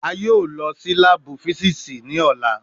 A yoo lọ si laabu fisiksi ni ọla